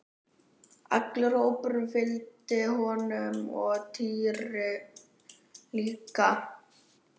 Allur hópurinn fylgdi honum og Týri líka!